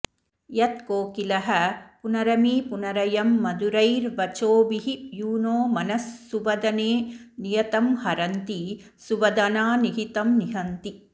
यत् कोकिलः पुनरमीपुनरयं मधुरैर्वचोभिर् यूनो मनः सुवदने नियतं हरन्तिसुवदनानिहितं निहन्ति